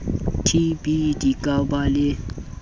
tb di ka ba le